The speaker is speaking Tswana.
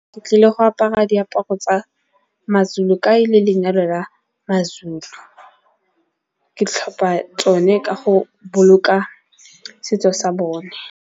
Ke tlile go apara diaparo tsa ma-Zulu ka e le lenyalo la ma-Zulu. Ke tlhopa tsone ka go boloka setso sa bone.